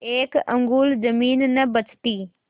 एक अंगुल जमीन न बचती